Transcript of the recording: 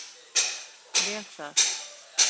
Vel það.